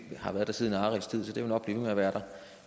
har været der siden arilds tid så det vil nok blive ved med at være der